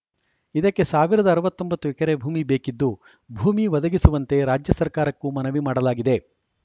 ಇದಕ್ಕೆ ಸಾವಿರದ ಅರವತ್ತ್ ಒಂಬತ್ತು ಎಕರೆ ಭೂಮಿ ಬೇಕಿದ್ದು ಭೂಮಿ ಒದಗಿಸುವಂತೆ ರಾಜ್ಯ ಸರ್ಕಾರಕ್ಕೂ ಮನವಿ ಮಾಡಲಾಗಿದೆ